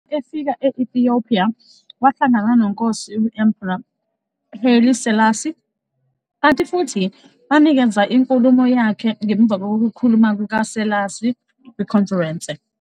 Efika e-Ethiopia, wahlangana noNkosi u-Emperor Haile Selassie I, kanti futhi wanikeza inkulumo yakhe ngemuva kokukhuluma kuka-Selassie kwikhonferense.